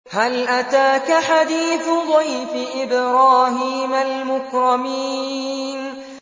هَلْ أَتَاكَ حَدِيثُ ضَيْفِ إِبْرَاهِيمَ الْمُكْرَمِينَ